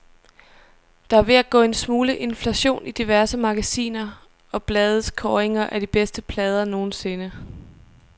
Der er ved at gå en smule inflation i diverse magasiner og blades kåringer af de bedste plader nogensinde.